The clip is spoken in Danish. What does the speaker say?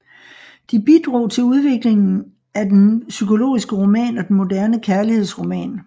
De bidrog til udviklingen af den psykologiske roman og den moderne kærlighedsroman